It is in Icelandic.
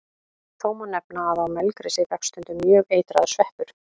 Þó má nefna að á melgresi vex stundum mjög eitraður sveppur.